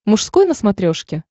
мужской на смотрешке